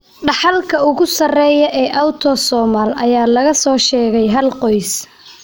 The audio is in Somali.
Dhaxalka ugu sarreeya ee Autosomal ayaa laga soo sheegay hal qoys.